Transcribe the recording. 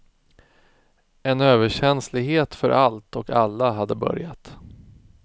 En överkänslighet för allt och alla hade börjat.